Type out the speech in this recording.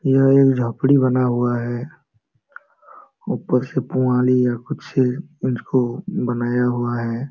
यह एक झोपड़ी बना हुआ है ऊपर से पुवाली या कुछ उसको बनाया हुआ है।